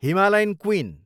Himalayan queen